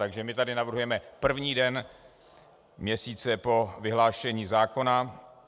Takže my tady navrhujeme první den měsíce po vyhlášení zákona.